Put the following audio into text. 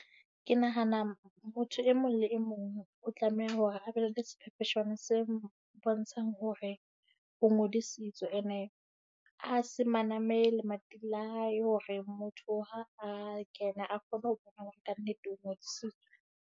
Ke nahana motho e mong le e mong o tlameha hore a be le sephepheswane se mpontshang hore o ngodisitswe. And-e a se maname lemating la hae hore motho ha a kena, a kgone ho bona hore kannete o ngodisitswe.